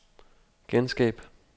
genskab